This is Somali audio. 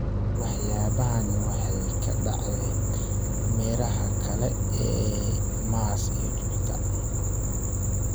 Waxyaabahani waxay ka dhaceen meeraha kale ee Mars iyo Jupiter.